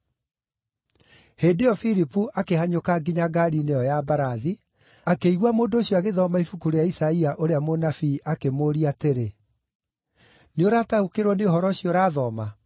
Hĩndĩ ĩyo Filipu akĩhanyũka nginya ngaari-inĩ ĩyo ya mbarathi, akĩigua mũndũ ũcio agĩthoma ibuku rĩa Isaia ũrĩa mũnabii, akĩmũũria atĩrĩ, “Nĩũrataũkĩrwo nĩ ũhoro ũcio ũrathoma?”